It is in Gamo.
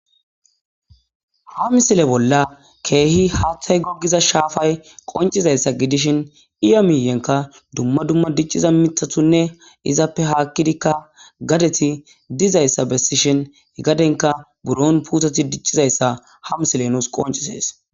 Ha misile bolla keehi haaththay gogiza shaafay qoncizayssa gidishin iya miyenka dumma dumma dicciza mithatunne izappe haakkidikka gadeti dizayssa bessishin gadenka buron puutoti diccizayssa ha misile nuus qoncisees.